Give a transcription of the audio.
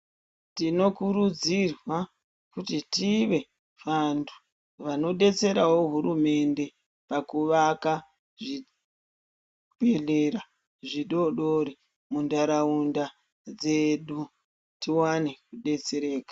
Tinokurudzirwa kuti tive vantu vanobetseravo hurumende pakuvaka zvibhedhlera zvidodori muntaraunda dzedu, tivane kubetsereka.